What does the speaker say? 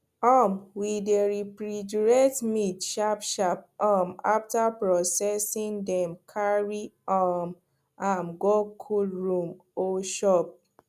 um we dey refrigerate meat sharpsharp um after processing then carry um am go cold room or shop